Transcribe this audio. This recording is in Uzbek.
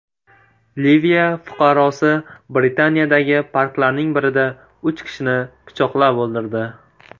Liviya fuqarosi Britaniyadagi parklarning birida uch kishini pichoqlab o‘ldirdi.